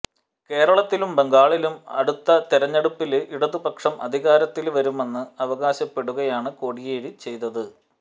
കേരളത്തിലും ബംഗാളിലും അടുത്തതെരഞ്ഞെടുപ്പില് ഇടതുപക്ഷം അധികാരത്തില് വരുമെന്ന് അവകാശപ്പെടുകയാണ് കോടിയേരി ചെയ്തത്